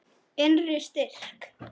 Innri styrk.